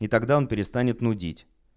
и тогда он перестанет нудить